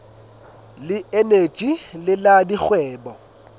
le eneji le la dikgwebo